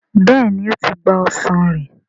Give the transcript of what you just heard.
béèni o tí gbà ọsán rẹ.